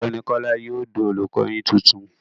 Ọ̀gbẹ́ni Kọ́lá yóò di olùkọ yín titun.